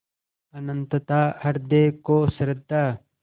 अनंतता हृदय को श्रद्धा